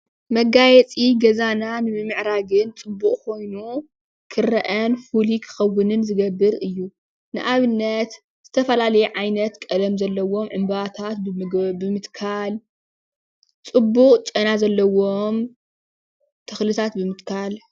መጋየፂ ገዛና ንምምዕራግን ፅቡቅ ኮይኑ ክርአን ፍሉይ ክከውንን ዝገብር እዩ። ንኣብነት ዝተፈላለዩ ዓይነት ቀለም ዘለዎም ዕንበባታት ብምትካል ፅቡቅ ጨና ዘለዎም ተክልታት ብምትካል።